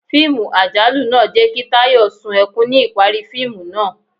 Fiimú ajalù naa jẹ ki Tayó sún ekún ni ipari fiimu naa